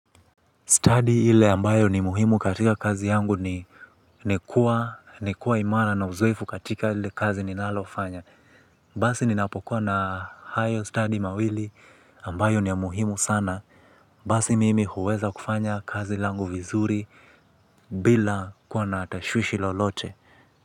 Study ile ambayo ni muhimu katika kazi yangu ni ni kuwa ni kuwa imara na uzoefu katika lile kazi ninalofanya. Basi ninapokuwa na hayo study mawili ambayo ni ya muhimu sana. Basi mimi huweza kufanya kazi langu vizuri bila kuwa na tashwishwi lolote.